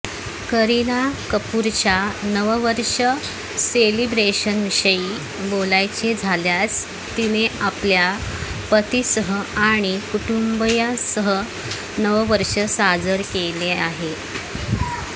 करीना कपूरच्या नववर्ष सेलिब्रेशनविषयी बोलायचे झाल्यास तिने आपल्या पतीसह आणि कुटुंबियांसह नववर्ष साजरे केले